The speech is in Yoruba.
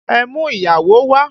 Ẹ mú ìyàwó wà!